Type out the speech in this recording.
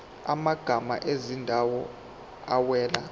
amagama ezindawo awela